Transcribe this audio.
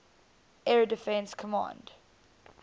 air defense command